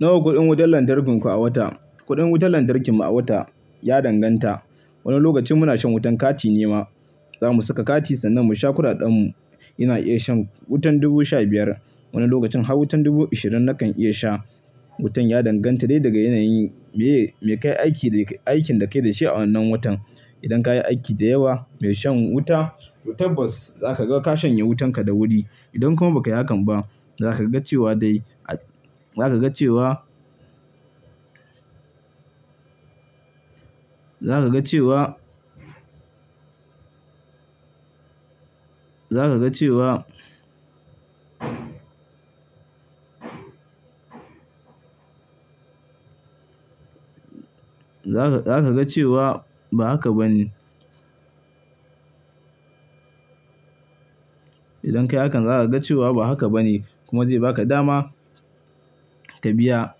Nawa kuɗin wutar lantarkin ku a wata? Kuɗin wutar lantarkin mu a wata ya danganta. Wani lokacin muna shan wutan kati ne ma. Za mu saka kati sannan mu sha kuɗaɗen mu. Ina iya shan wutan dubu sha biyar. Wani lokacin har wutan dubu ashirin na kan iya sha. Wutan ya danganta dai daga yanayin meye me kai aikin da ke da shi a wannan watan. Idan ka yi aiki da yawa mai shan wuta, tabbas za ka ga ka shanye wutan ka da wuri. Idan kuma ba ka yi hakan ba, za ka ga cewa dai, za ka ga cewa, za ka ga cewa, za ka cewa, za ka cewa ba haka ba ne. Idan ka yi hakan za ka ga cewa ba haka ba ne kuma zai baka dama ka biya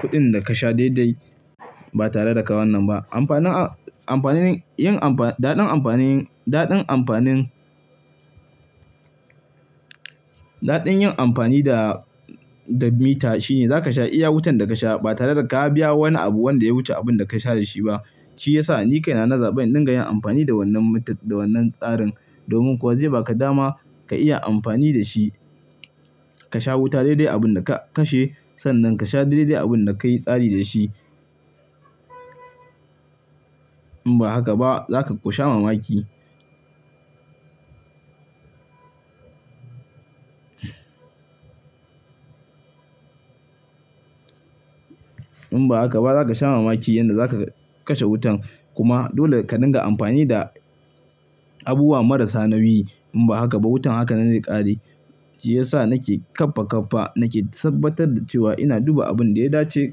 kuɗin da ka sha daidai ba tare da ka wannan ba. Amfanin, amfanin yin amfani, daɗin amfanin, daɗin amfanin, daɗin yin amfani da, da mita shine za ka sha iya wutan da ka sha ba tare da ka biya wani abu wanda ya wuce abun da ka sha da shi ba. Shi ya sa ni kai na na zaɓin dinga yin amfani da wannan mitar da wannan tsarin domin kuwa zai baka dama ka iya amfani da shi. Ka sha wuta daidai abun da ka kashe sannan ka sha daidai abun da ka yi tsari da shi. In ba haka ba za ka ƙusha mamaki. In ba haka ba za ka sha mamaki yadda za ka kashe wutan. Kuma dole ka dinga amfani da abubuwa marasa nauyi. In ba haka ba wutan haka nan zai ƙare. Shi ya sa nake ƙafa ƙafa nake tabbatar da cewa ina duba abun da ya dace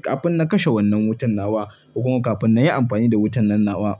kafin na kashe wannan wutan nawa kuma kafin na yi amfani da wutan nan nawa.